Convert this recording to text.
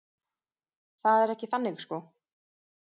Það er ekki þannig sko.